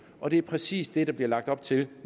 og det er præcis det der bliver lagt op til